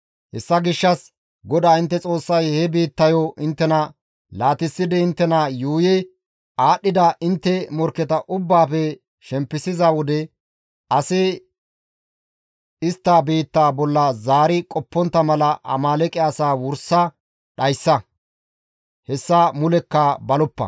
Hessa gishshas GODAA intte Xoossay he biittayo inttena laatissidi inttena yuuyi aadhdhida intte morkketa ubbaafe shempisiza wode asi istta biitta bolla zaari qoppontta mala Amaaleeqe asaa wursa dhayssa; hessa mulekka baloppa.